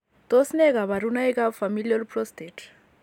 Tos nee kabarunaik ab Familial prostate?